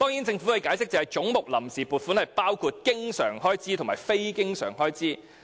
政府解釋，總目下的臨時撥款包括經常開支及非經常開支。